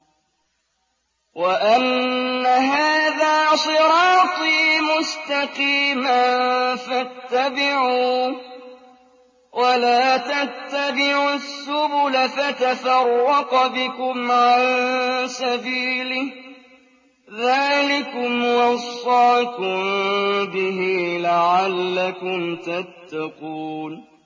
وَأَنَّ هَٰذَا صِرَاطِي مُسْتَقِيمًا فَاتَّبِعُوهُ ۖ وَلَا تَتَّبِعُوا السُّبُلَ فَتَفَرَّقَ بِكُمْ عَن سَبِيلِهِ ۚ ذَٰلِكُمْ وَصَّاكُم بِهِ لَعَلَّكُمْ تَتَّقُونَ